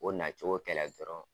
Ko nacogo kɛlɛ dɔrɔn